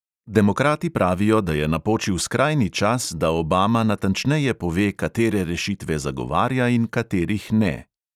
Demokrati pravijo, da je napočil skrajni čas, da obama natančneje pove, katere rešitve zagovarja in katerih ne.